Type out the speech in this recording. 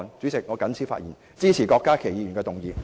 主席，我謹此陳辭，支持郭家麒議員的議案。